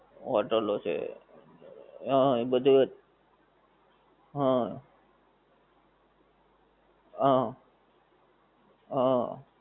હોટેલો છે. હં એ બધી. હં. હં. હં.